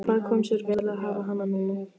Það kom sér vel að hafa hana núna.